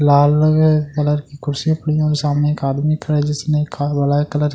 लाल रंग मे एक कुर्सी पड़ी है सामने एक आदमी खड़ा है जिसने व्हाइट कलर --